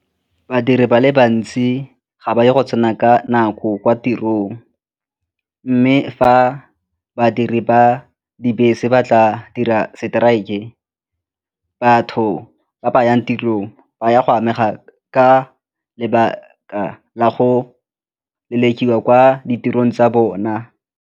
Badiri ba le bantsi ga ba ye go tsena ka nako kwa tirong mme fa badiri ba dibese ba tla dira strike-e batho ba ba yang tirong ba ya go amega ka lebaka la go lelekiwa kwa ditirong tsa bona.